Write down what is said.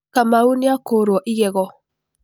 Kamau nĩakũrũo igego.